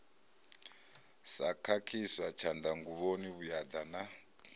sa khakhiswa tshanḓanguvhoni vhuaḓa na